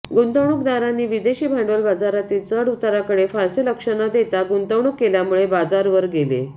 गुंतवणूकदारांनी विदेशी भांडवल बाजारांतील चढउताराकडे फारसे लक्ष न देता गुंतवणूक केल्यामुळे बाजार वर गेले